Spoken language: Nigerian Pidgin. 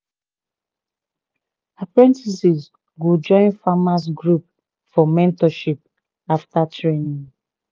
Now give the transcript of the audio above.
apprentices go join farmers group for mentorship after training